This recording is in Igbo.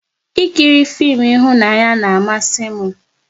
Ị kiri fim ịhụnanya na amasị m